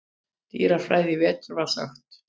dýrafræðinni í vetur var sagt.